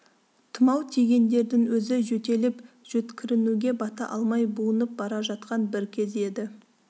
тұмау тигендердің өзі жөтеліп-жөткірінуге бата алмай буынып бара жатқан бір кез еді